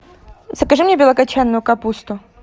закажи мне белокочанную капусту